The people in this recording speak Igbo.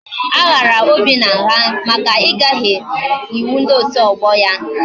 A ghara Obinna ngha maka igaghi iwu ndi otu ogbo ya